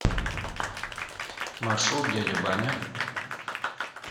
маршрут дядя баня